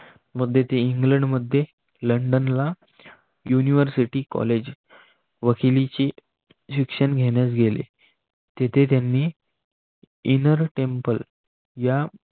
ते इंग्लंडमध्ये लंडनला युनिव्हर्सिटी कॉलेज वकिलीची शिक्षण घेण्यास गेले. तेथे त्यांनी इनर टेंपल या